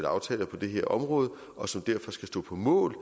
aftaler på det her område og som derfor skal stå på mål